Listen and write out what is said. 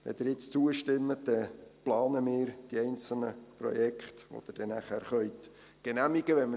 Wenn Sie jetzt zustimmen, dann planen wir die einzelnen Projekte, die Sie nachher genehmigen können.